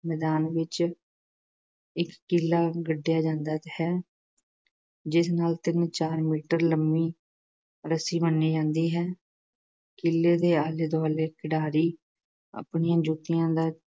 ਮੈਦਾਨ ਵਿੱਚ ਇੱਕ ਕੀਲਾ ਗੱਡਿਆ ਜਾਂਦਾ ਹੈ ਜਿਸ ਨਾਲ ਤਿੰਨ-ਚਾਰ ਮੀਟਰ ਲੰਮੀ ਰੱਸੀ ਬੰਨ੍ਹੀ ਜਾਂਦੀ ਹੈ। ਕੀਲੇ ਦੇ ਆਲੇ-ਦੁਆਲੇ ਖਿਡਾਰੀ ਆਪਣੀਆਂ ਜੁੱਤੀਆਂ ਦਾ